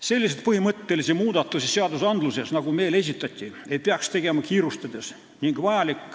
Selliseid põhimõttelisi muudatusi seaduses, nagu meile esitati, ei peaks tegema kiirustades.